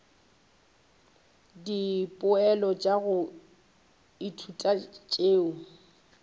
dipoelo tša go ithuta tšeo